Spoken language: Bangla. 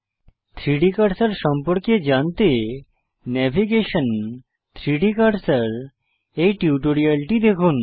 3ডি কার্সার সম্পর্কে জানতে নেভিগেশন 3ডি কার্সর এই টিউটোরিয়ালটি দেখুন